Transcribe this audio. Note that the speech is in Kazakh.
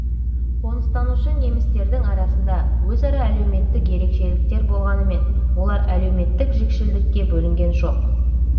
қоныстанушы немістердің арасында өзара әлеуметтік ерекшеліктер болғанымен олар әлеуметтік жікшілдікке бөлінген жоқ